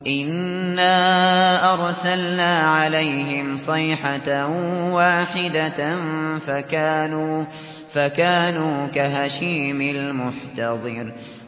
إِنَّا أَرْسَلْنَا عَلَيْهِمْ صَيْحَةً وَاحِدَةً فَكَانُوا كَهَشِيمِ الْمُحْتَظِرِ